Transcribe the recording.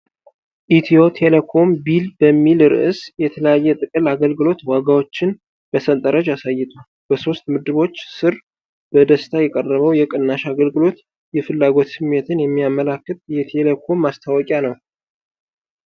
ኢትዮ ቴሌኮም ቢል በሚል ርዕስ የተለያየ የጥቅል አገልግሎት ዋጋዎችን በሰንጠረዥ አሳይቷል። በሦስት ምድቦች ስር በደስታ የቀረበው የቅናሽ አገልግሎት የፍላጎት ስሜትን የሚያመላክት የቴሌኮም ማስታወቂያ ነው።